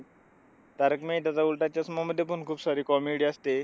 तारक मेहताचा उलटा चष्मामध्ये पण खूप सारी comedy असते.